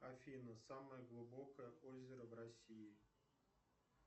афина самое глубокое озеро в россии